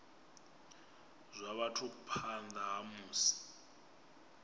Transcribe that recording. zwa vhathu phanḓa ha musi